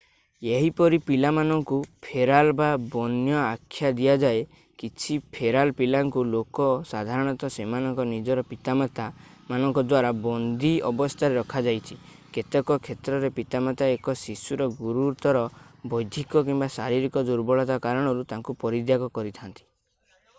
ଏହିପରି ପିଲାମାନଙ୍କୁ ଫେରାଲ୍ ବା ବନ୍ୟ ଆଖ୍ୟା ଦିଆଯାଏ। କିଛି ଫେରାଲ୍ ପିଲାଙ୍କୁ ଲୋକ ସାଧାରଣତଃ ସେମାନଙ୍କ ନିଜର ପିତାମାତାମାନଙ୍କ ଦ୍ଵାରା ବନ୍ଦୀ ଅବସ୍ଥାରେ ରଖାଯାଇଛି; କେତେକ କ୍ଷେତ୍ରରେ ପିତାମାତା ଏକ ଶିଶୁର ଗୁରୁତର ବୌଦ୍ଧିକ କିମ୍ବା ଶାରୀରିକ ଦୁର୍ବଳତା କାରଣରୁ ତାକୁ ପରିତ୍ୟାଗ କରିଥାନ୍ତି।